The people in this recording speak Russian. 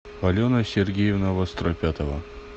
алена сергеевна востропятова